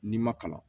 N'i ma kalan